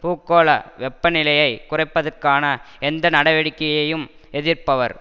பூகோள வெப்பநிலையை குறைப்பதற்கான எந்த நடவடிக்கையையும் எதிர்ப்பவர்